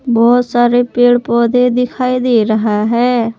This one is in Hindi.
बहुत सारे पेड़ पौधे दिखाई दे रहा है।